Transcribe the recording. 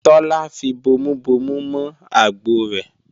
Tọ́lá fi bomubomu mọ àgbọ rẹ̀